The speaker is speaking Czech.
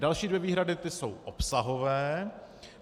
Další dvě výhrady, ty jsou obsahové.